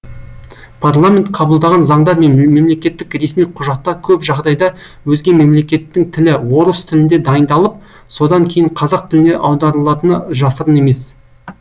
парламент қабылдаған заңдар мен мемлекеттік ресми құжаттар көп жағдайда өзге мемлекеттің тілі орыс тілінде дайындалып содан кейін қазақ тіліне аударылатыны жасырын емес